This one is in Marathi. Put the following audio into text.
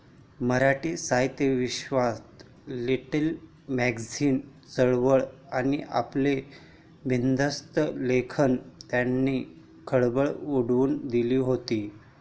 मराठी साहित्यविश्वात 'लिटील मॅगझीन' चळवळ आणि आपल्या 'बिनधास्त' लेखनाने त्यांनी खळबळ उडवून दिली होती.